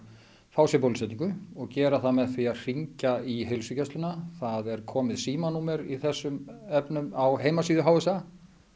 fá sér bóluetningu og gera það með því að hringja í heilsugæsluna það er komið símanúmer í þessum efnum á heimsíðu HSA